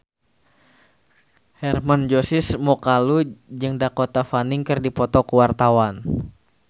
Hermann Josis Mokalu jeung Dakota Fanning keur dipoto ku wartawan